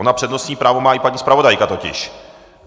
Ona přednostní právo má i paní zpravodajka totiž.